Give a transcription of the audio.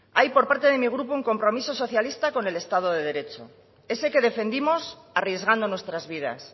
hay por parte de mi grupo un compromiso socialista con el estado de derecho ese que defendimos arriesgando nuestras vidas